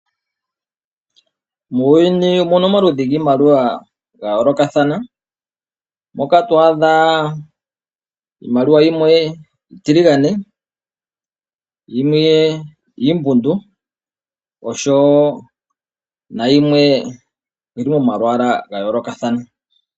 Muuyuni omuna omaludhi giimaliwa ya yoolokathana. Moka twaadha iimaliwa yimwe iitiligane, yimwe iimbundu oshowoo nayimwe yi li momalwaala ga yoolokathana.